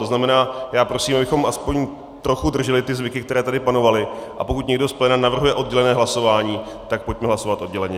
To znamená, já prosím, abychom aspoň trochu drželi ty zvyky, které tady panovaly, a pokud někdo z pléna navrhuje oddělené hlasování, tak pojďme hlasovat odděleně.